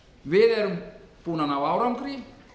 við erum búin að ná árangri